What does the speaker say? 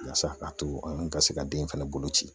Yaasa k'a to n ka se ka den fɛnɛ bolo ci